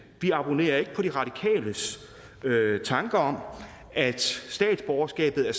vi abonnerer ikke på de radikales tanker om at statsborgerskabet er